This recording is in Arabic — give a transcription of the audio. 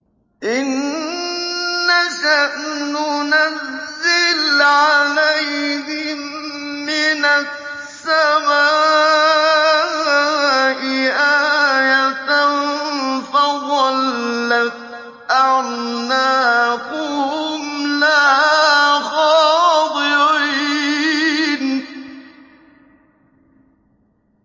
إِن نَّشَأْ نُنَزِّلْ عَلَيْهِم مِّنَ السَّمَاءِ آيَةً فَظَلَّتْ أَعْنَاقُهُمْ لَهَا خَاضِعِينَ